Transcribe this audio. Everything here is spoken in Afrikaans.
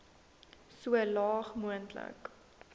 so laag moontlik